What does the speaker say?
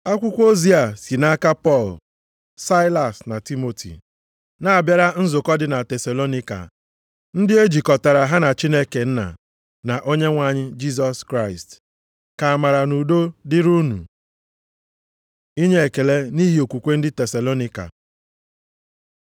Akwụkwọ ozi a si nʼaka Pọl, Saịlas + 1:1 Nʼasụsụ Griik Silvenọs bụ otu ọzọ e si akpọ Saịlas. na Timoti. Na-abịara nzukọ dị na Tesalonaịka, ndị e jikọtara ha na Chineke Nna, na Onyenwe anyị Jisọs Kraịst. Ka amara na udo dịrị unu. Inye ekele nʼihi okwukwe ndị Tesalonaịka